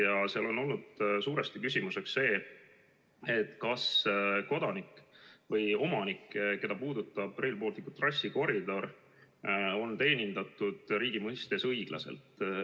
Ja seal on olnud suuresti küsimus see, kas kodanik või omanik, keda puudutab Rail Balticu trassikoridor, on riigi mõistes õiglaselt teenindatud.